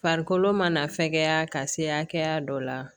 Farikolo mana fɛkɛya ka se hakɛya dɔ la